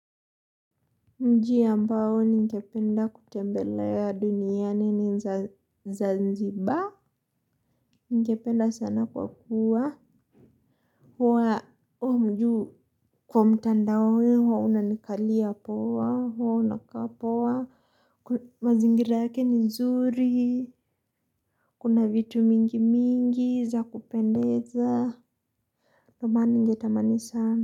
Mji ambao ningependa kutembelea duniani ni zanziba. Ningependa sana kwa kuwa. Kwa mtandao unanikalia poa, huwa unakaa poa, mazingira yake ni nzuri, kuna vitu mingi mingi za kupendeza. Ndio maana ningetamani sana.